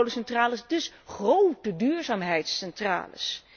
Grote kolencentrales, dus grote duurzaamheidscentrales.